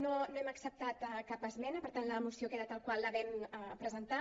no hem acceptat cap esmena per tant la moció queda tal qual la vam presentar